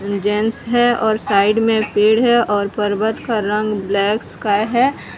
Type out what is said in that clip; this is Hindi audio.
जेंट्स है और साइड में पेड़ है और पर्वत का रंग ब्लैक स्काई है।